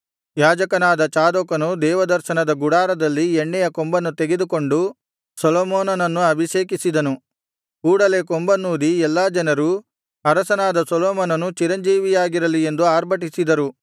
ಯಾಜಕನಾದ ಚಾದೋಕನು ದೇವದರ್ಶನದ ಗುಡಾರದಲ್ಲಿ ಎಣ್ಣೆಯ ಕೊಂಬನ್ನು ತೆಗೆದುಕೊಂಡು ಸೊಲೊಮೋನನನ್ನು ಅಭಿಷೇಕಿಸಿದನು ಕೂಡಲೇ ಕೊಂಬನ್ನೂದಿ ಎಲ್ಲಾ ಜನರು ಅರಸನಾದ ಸೊಲೊಮೋನನು ಚಿರಂಜೀವಿಯಾಗಿರಲಿ ಎಂದು ಆರ್ಭಟಿಸಿದರು